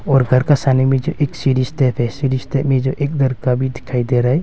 और घर का साने मे जो एक सीढ़ी स्टेप है सीढ़ी स्टेप में जो एक लरका भी दिखाई दे रहा है।